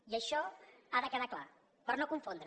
i això ha de quedar clar per no confondre